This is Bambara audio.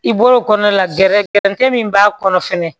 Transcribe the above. I bɔr'o kɔnɔ la gɛrɛ gɛrɛtɛ min b'a kɔnɔ fɛnɛ